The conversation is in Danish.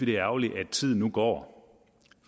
det er ærgerligt at tiden går